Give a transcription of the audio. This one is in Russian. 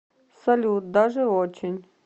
салют даже очень